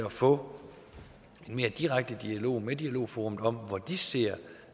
at få en mere direkte dialog med dialogforum om hvor de ser